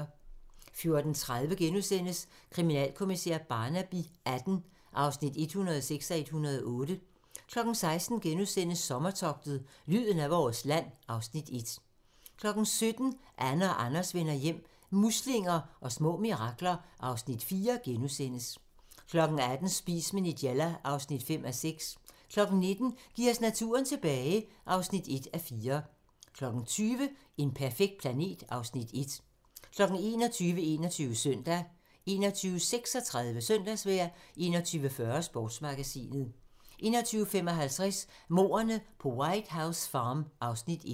14:30: Kriminalkommissær Barnaby XVIII (106:108)* 16:00: Sommertogtet - lyden af vores land (Afs. 1)* 17:00: Anne og Anders vender hjem - muslinger og små mirakler (Afs. 4)* 18:00: Spis med Nigella (5:6) 19:00: Giv os naturen tilbage (1:4) 20:00: En perfekt planet (Afs. 1) 21:00: 21 Søndag 21:36: Søndagsvejr 21:40: Sportsmagasinet 21:55: Mordene på White House Farm (Afs. 1)